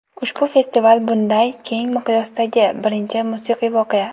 Ushbu festival – bunday keng miqyosdagi birinchi musiqiy voqea.